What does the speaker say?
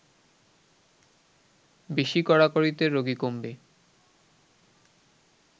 বেশি কড়াকড়িতে রোগী কমবে